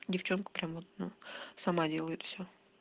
девчонка прям вот ну сама делает все